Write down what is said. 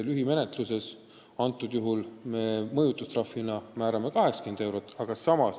Lühimenetluses me määrame selle eest mõjutustrahvina 80 eurot.